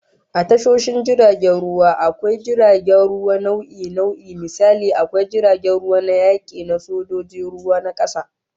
A tashoshin jiragen ruwa, akwai jiragen ruwa nau'i nau'i, misali, akwai jiragen ruwa na yaki na sojojin ruwan kasa